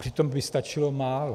Přitom by stačilo málo.